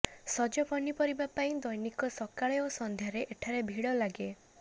ସଜ ପନିପରିବା ପାଇଁ ଦ୘ନିକ ସକାଳେ ଓ ସଂଧ୍ୟାରେ ଏଠାରେ ଭିଡ଼ ଲାଗେ